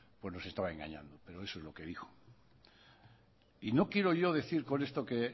pues nos estaba engañando pero eso es lo que dijo y no quiero yo decir con esto que